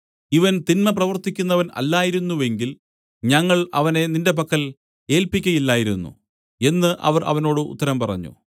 ഇവൻ തിന്മപ്രവൃത്തിക്കുന്നവൻ അല്ലായിരുന്നെങ്കിൽ ഞങ്ങൾ അവനെ നിന്റെ പക്കൽ ഏല്പിക്കയില്ലായിരുന്നു എന്നു അവർ അവനോട് ഉത്തരം പറഞ്ഞു